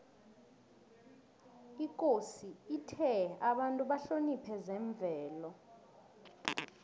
ikosi ithe abantu bahloniphe zemvelo